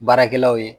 Baarakɛlaw ye